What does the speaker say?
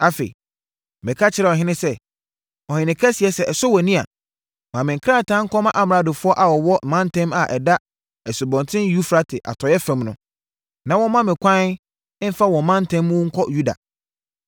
Afei, meka kyerɛɛ ɔhene sɛ, “Ɔhene Kɛseɛ sɛ ɛsɔ wʼani a, ma me nkrataa nkɔma amradofoɔ a wɔwɔ mantam a ɛda Asubɔnten Eufrate atɔeɛ fam no, na wɔmma me kwan mfa wɔn mantam mu nkɔ Yuda.